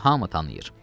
Onu hamı tanıyır.